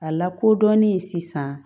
A lakodɔnnen sisan